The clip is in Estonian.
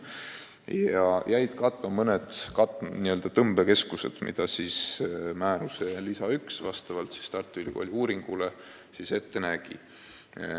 Ka jäid katmata mõned tõmbekeskused, mida määruse lisa 1 vastavalt Tartu Ülikooli uuringule ette nägi.